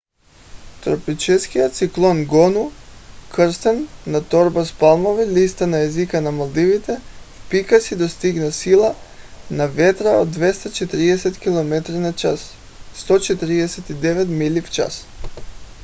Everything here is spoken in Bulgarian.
тропическият циклон гону кръстен на торба с палмови листа на езика на малдивите в пика си достига сила на вятъра от 240 км/ч 149 мили в час